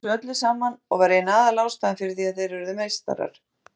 Hann hélt þessu öllu saman og var ein aðalástæðan fyrir því að þeir urðu meistarar.